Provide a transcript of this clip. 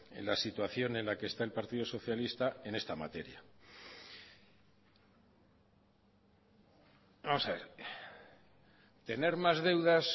en la situación en la que está el partido socialista en esta materia vamos a ver tener más deudas